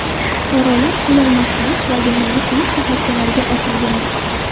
Fuqarolar pul almashtirish va yonilg‘i quyish shoxobchalariga otilgan.